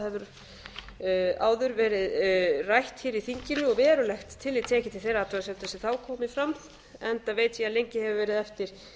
þess að það hefur áður verið rætt hér í þinginu og verulegt tillit tekið til þeirra athugasemda sem þá komu fram enda veit ég að lengi hefur verið eftir